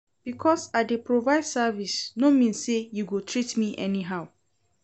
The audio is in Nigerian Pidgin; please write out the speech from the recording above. Because I dey provide service no mean sey you go treat me anyhow.